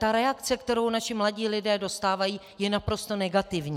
Ta reakce, kterou naši mladí lidé dostávají, je naprosto negativní.